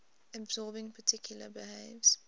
absorbing particle behaves